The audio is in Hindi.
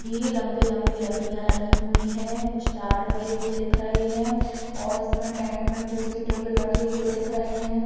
भी लम्बी-लम्बी लकड़ियाँ लगी हुई है। कुछ तार लगे हुए दिख रहे हैं और इसमें टेंट में कुर्सी टेबल रखे हुए दिख रहे हैं।